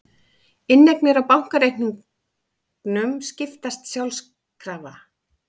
Inneignir á bankareikningum skiptast sjálfkrafa